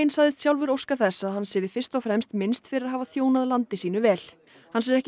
sagðist sjálfur óska þess að hans yrði fyrst og fremst minnst fyrir að hafa þjónað landi sínu vel hans er ekki